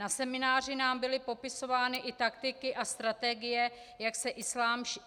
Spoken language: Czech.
Na semináři nám byly popisovány i taktiky a strategie, jak islám šířit.